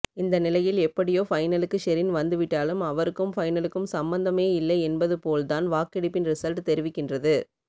இந்த நிலையில் எப்படியோ ஃபைனலுக்கு ஷெரின் வந்துவிட்டாலும் அவருக்கும் ஃபைனலுக்கும் சம்பந்தமே இல்லை என்பதுபோல்தான் வாக்கெடுப்பின் ரிசல்ட் தெரிவிக்கின்றது